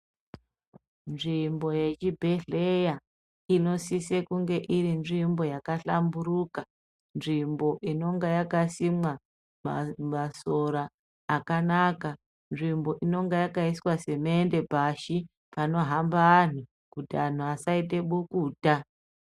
Nzvimbo yechibhehleya inosise kunge irinzvimbo yakahlamburuka. Nzvimbo inonga yakasimwa masora akanaka. Nzvimbo inonga yakaiswa semende pashi panohamba anhu, kuti anhu asaite bukuta.